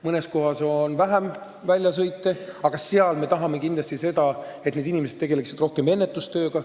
Mõnes kohas on vähem väljasõite ja seal me tahame, et need inimesed tegeleksid rohkem ennetustööga.